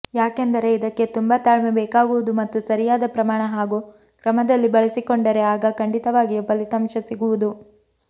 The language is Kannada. ಯಾಕೆಂದರೆ ಇದಕ್ಕೆ ತುಂಬಾ ತಾಳ್ಮೆ ಬೇಕಾಗುವುದು ಮತ್ತು ಸರಿಯಾದ ಪ್ರಮಾಣ ಹಾಗೂ ಕ್ರಮದಲ್ಲಿ ಬಳಸಿಕೊಂಡರೆ ಆಗ ಖಂಡಿತವಾಗಿಯೂ ಫಲಿತಾಂಶ ಸಿಗುವುದು